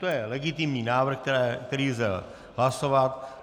To je legitimní návrh, který lze hlasovat.